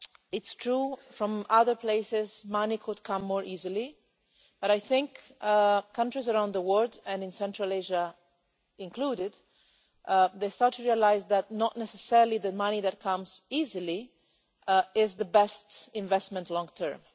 It's true that from other places money could come more easily, but I think countries around the world, and in Central Asia included, are starting to realise that it is not necessarily the money that comes easily which is the best investment long term.